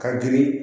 Ka girin